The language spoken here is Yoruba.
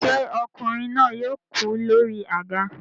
Ṣé ọkùnrin náà yóò kú lórí àga